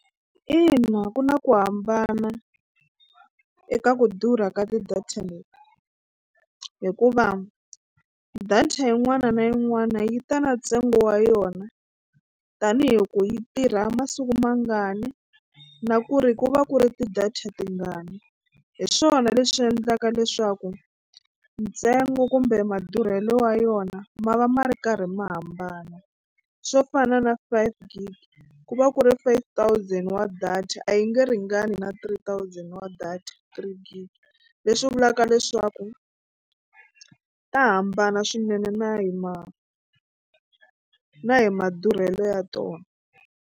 Ina ku na ku hambana eka ku durha ka ti-data leti hikuva data yin'wana na yin'wana yi ta na ntsengo wa yona tanihi ku yi tirha masiku mangani na ku ri ku va ku ri ti-data tingani hi swona leswi endlaka leswaku ntsengo kumbe madurhelo ya yona ma va ma ri karhi ma hambana swo fana na five gig ku va ku ri five thousand wa data a yi nge ringani na three thousand wa data three gig leswi vulaka leswaku ta hambana swinene na hi ma na hi madurhelo ya tona.